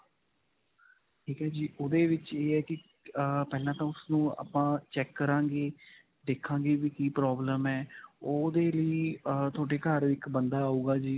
ਠੀਕ ਹੈ ਜੀ. ਓਹਦੇ ਵਿੱਚ ਇਹ ਹੈ ਕਿ ਅਅ ਪਹਿਲਾਂ ਤਾਂ ਉਸਨੂੰ ਆਪਾਂ ਚੈਕ ਕਰਾਂਗੇ, ਦੇਖਾਂਗੇ ਵੀ ਕਿ problem ਹੈ. ਓਹਦੇ ਲਈ ਅਅ ਤੁਹਾਡੇ ਘਰ ਇੱਕ ਬੰਦਾ ਆਊਗਾ ਜੀ.